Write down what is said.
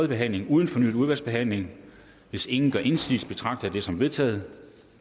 behandling uden fornyet udvalgsbehandling hvis ingen gør indsigelse betragter jeg dette som vedtaget